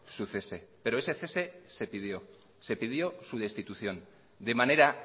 su cese pero ese cese se pidió se pidió su destitución de manera